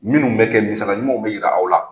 Minnu bɛ kɛ misaliya ɲumanw bɛ jira aw la.